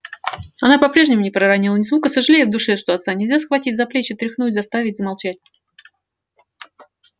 она по-прежнему не проронила ни звука сожалея в душе что отца нельзя схватить за плечи тряхнуть заставить замолчать